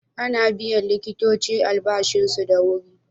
Ana biyan likitoci albashinsu da wuri?